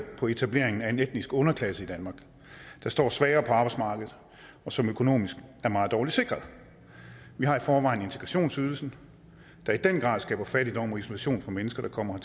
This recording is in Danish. på etableringen af en etnisk underklasse i danmark der står svagere på arbejdsmarkedet og som økonomisk er meget dårlig sikret vi har i forvejen integrationsydelsen der i den grad skaber fattigdom og isolation for mennesker der kommer